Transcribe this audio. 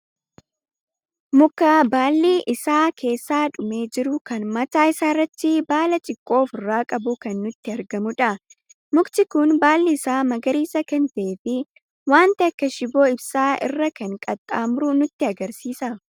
Mukaa baalli irra isaa keessa dhumee jiru kan mataa isaarratti baala xiqqoo ofirraa qabu kan nutti argamudha. mukti kun baalli isaa magariisa kan ta'ee fi waan akka shiboo ibsaa irra kan qaxxaamuru nutti agarsiisa.